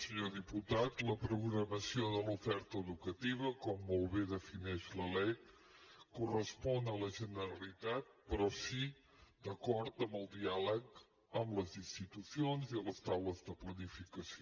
senyor diputat la programació de l’oferta educativa com molt bé defineix la lec correspon a la generalitat però sí d’acord amb el diàleg amb les institucions i a les taules de planificació